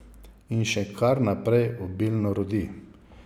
In še kar naprej obilno rodi.